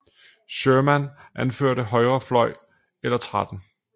Sherman anførte højre fløj eller 13